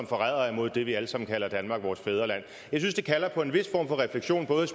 forrædere imod det vi alle sammen kalder danmark vores fædreland jeg synes det kalder på en vis form for refleksion både